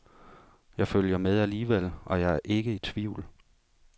Jeg følger med alligevel, og jeg er ikke i tvivl.